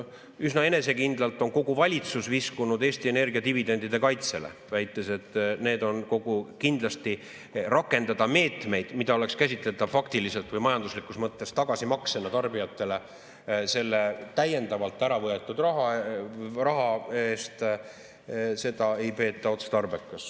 Üsna enesekindlalt on kogu valitsus viskunud Eesti Energia dividendide kaitsele, väites, et kindlasti ei peeta otstarbekaks rakendada meetmeid, mis oleksid käsitletavad faktiliselt või majanduslikus mõttes tagasimaksena tarbijatele selle täiendavalt ära võetud raha eest.